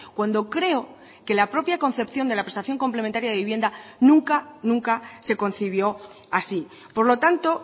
cuando creo que la propia concepción de la prestación complementaria de vivienda nunca nunca se concibió así por lo tanto